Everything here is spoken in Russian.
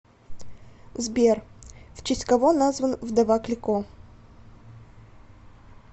сбер в честь кого назван вдова клико